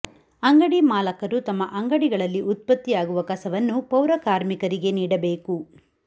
ಅಂಗಡಿ ಮಾಲಕರು ತಮ್ಮ ಅಂಗಡಿಗಳಲ್ಲಿ ಉತ್ಪತ್ತಿಯಾಗುವ ಕಸವನ್ನು ಪೌರ ಕಾರ್ಮಿಕರಿಗೆ ನೀಡಬೇಕು